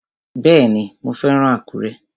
Bẹ́ẹ̀ni, mo fẹ́ràn Àkúrẹ́